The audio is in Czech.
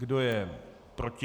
Kdo je proti?